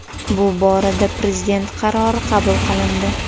Bu borada prezident qarori qabul qilindi.